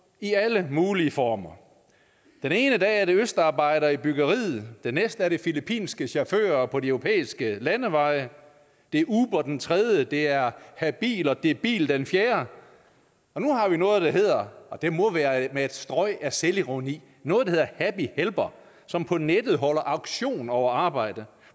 i alle mulige former den ene dag er det østarbejdere i byggeriet den næste er det filippinske chauffører på de europæiske landeveje det er uber den tredje dag det er habil og debil den fjerde og nu har vi noget der hedder og det må være med et strøg af selvironi happy helper som på nettet holder auktion over arbejde